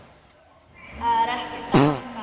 Það er ekkert að marka.